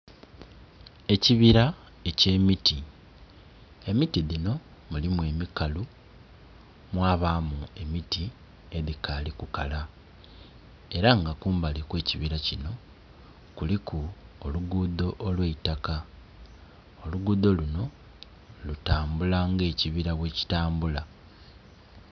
Ekibira eky'emiti, emiti dhino mulimu emikalu mwabamu emiti edhikali kukala era nga kumbali kwekibira kino kuliku olugudho olweitaka, olugudho luno lutambula nga ekibira bwekitambula.